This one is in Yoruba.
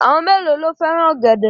Àwọn mélòó ló fẹ́ràn ọ̀gẹ̀dẹ̀?